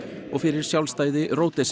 og fyrir sjálfstæði